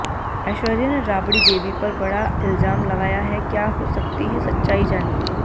एेश्वर्या ने राबड़ी देवी पर बड़ा इल्जाम लगाया है क्या हो सकती है सच्चाई जानिए